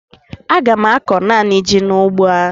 Ọ ga-akọ naanị ji n'ugbo ya.